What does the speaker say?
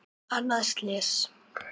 Annað slys.